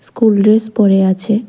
কুল dress পড়ে আছে।